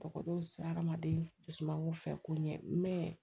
Tɔgɔdow sera adamaden dusu mango fɛ ko ɲɛ